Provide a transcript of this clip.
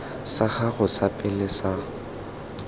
sa gago sa pele sa